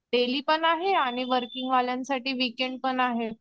Daily पण आहे आणि वर्किंग वाल्यांसाठी विकेंड पण आहे.